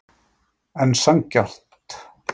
En sanngjarnt?